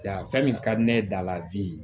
Yan fɛn min ka di ne ye daladi